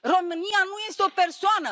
România nu este o persoană!